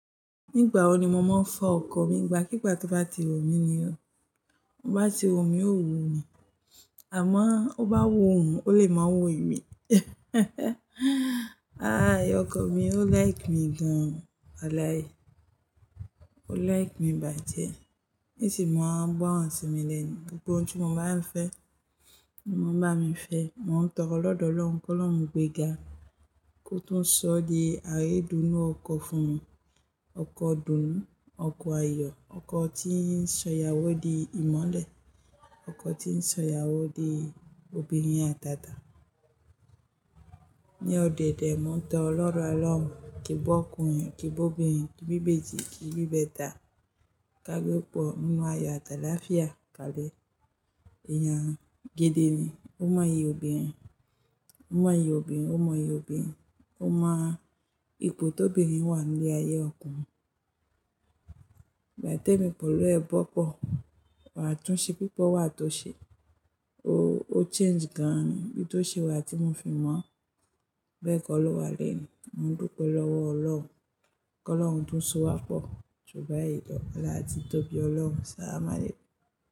Nígbà wo ni mo máa ń fọ ọkọ̀ mi? Igbà kígbà tó bá ti wù mí ni ó, ó bá ti wu mí ó wù mí àmọ́ ó bá wù òun ó lè máa wò mí. Ah ìyá ọkọ mí ó like mi gan Walai, ó like mi bàjẹ́. Níṣìí mo máa ń gbọ́ràn sí mi lẹni gbogbo ohun tí mo bá ń fẹ́, o máa ń bá mi fẹ́. Mo ń tọrọ lọ́dọ̀ Ọlọ́run kó lọ́run gbéga kó tún sọ di aridùnnú ọkọ fún mi, ọkọ ìdùnnú, ọkọ ayọ̀, ọkọ tí ń sọ ìyàwó di ìmọ́lẹ̀, ọkọ tí ń sọ ìyàwó di obìnrin àtàtà. Ni ọdẹ̀dẹ̀ mo ń tọrọ l'ọdọ Ọlọ́run, kí i n bi ọkùnrin, kí i bi obìnrin, kí i bí ibèji, kí i bí ìbẹta ká bí ọ̀pọ̀ nínú ayọ̀ àt'àlàáfíà kalẹ̀. Èèyàn gídì ni, ó mọyì obìnrin, ó mọyì obìnrin, ó mọyì obìnrin, ó mọ ipò tó bí obìnrin wà ní ayé ọkùnrin. Ìgbà tí èmi pẹ̀lú ẹ bọ́ pọ̀, àtúnṣe púpọ̀ wà tó ṣe, o-o change gan ni, bí tó ṣe wà tí mo fi mọ̀ ọ́ bẹ́ẹ̀ kọ́ ló wà lẹ́ẹ̀ni. Mo ń dúpe lọ́wọ́ Ọlọ́hun kó lọ́run tún sọ wá pọ̀ ju báyìí lọ ọlá ti tóbi Ọlọ́run, sahla malèkú.